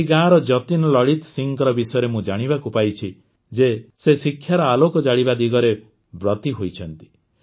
ଏହି ଗାଁର ଯତୀନ୍ ଲଲିତ ସିଂହଙ୍କ ବିଷୟରେ ମୁଁ ଜାଣିବାକୁ ପାଇଛି ଯେ ସେ ଶିକ୍ଷାର ଆଲୋକ ଜାଳିବା ଦିଗରେ ବ୍ରତୀ ହୋଇଛନ୍ତି